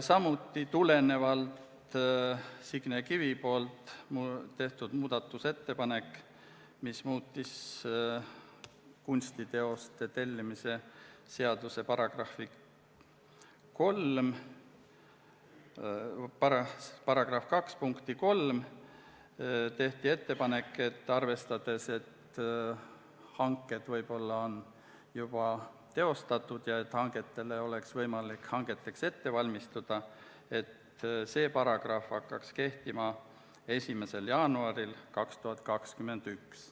Samuti tegi Signe Kivi muudatusettepaneku, mis muutis kunstiteoste tellimise seaduse § 2 punkti 3, ja seetõttu tehti ettepanek – kuivõrd hanked võivad olla juba teostatud ja selleks, et oleks võimalik hangeteks ette valmistada –, et see paragrahv hakkaks kehtima 1. jaanuaril 2021.